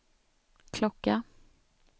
klocka